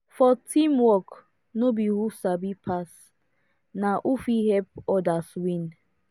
for teamwork no be who sabi pass na who fit help others win